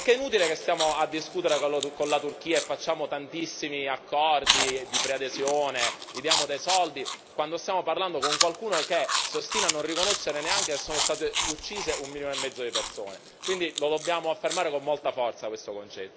Perché è inutile che stiamo a discutere con la Turchia e facciamo tantissimi accordi di preadesione, gli diamo dei soldi, quando stiamo parlando con qualcuno che si ostina a non riconoscere neanche che sono state uccise un milione e mezzo di persone, quindi lo dobbiamo affermare con molta forza questo concetto.